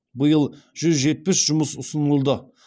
биыл жүз жетпіс жұмыс ұсынылды